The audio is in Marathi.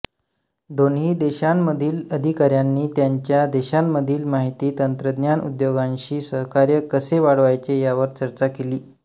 दोन्ही देशांमधील अधिका्यांनी त्यांच्या देशांमधील माहिती तंत्रज्ञान उद्योगांशी सहकार्य कसे वाढवायचे यावर चर्चा केली